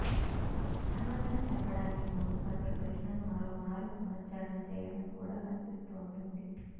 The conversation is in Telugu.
సమాధానం చెప్పడానికి ముందు సదరు ప్రశ్నను మరోమారు పునశ్ఛరణ చేయడం కూడా కనిపిస్తోంటుంది